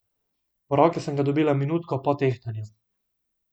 V roke sem ga dobila minutko po tehtanju.